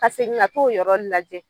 Ka segin ŋa t'o yɔrɔ lajɛ